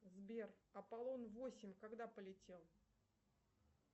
сбер аполлон восемь когда полетел